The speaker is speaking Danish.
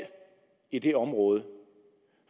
i det her område